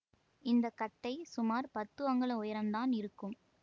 இந்த கட்டை சுமார் பத்து அங்குல உயரந்தான் இருக்கும்